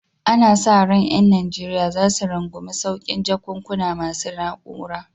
Ana sa ran ƴan Najeriya za su rungumi saukin jakunkuna masu na'ura